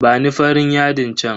Bani farin yadin chan.